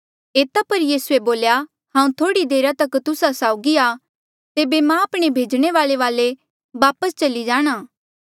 एता पर यीसूए बोल्या हांऊँ थोह्ड़ी देरा तक तुस्सा साउगी आ तेबे मां आपणे भेजणे वाल्ऐ वापस वाले चली जाणा